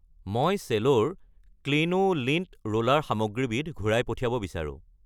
মই চেলোৰ Cleano lint roller সামগ্ৰীবিধ ঘূৰাই পঠিয়াব বিচাৰোঁ।